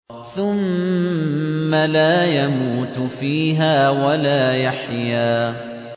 ثُمَّ لَا يَمُوتُ فِيهَا وَلَا يَحْيَىٰ